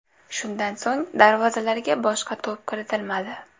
Shundan so‘ng darvozalarga boshqa to‘p kiritilmadi.